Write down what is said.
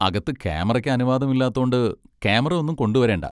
അകത്ത് ക്യാമറയ്ക്ക് അനുവാദമില്ലാത്തോണ്ട് ക്യാമറ ഒന്നും കൊണ്ടുവരേണ്ട.